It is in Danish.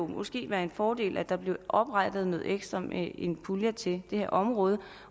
måske være en fordel at der blev oprettet noget ekstra med en pulje til det her område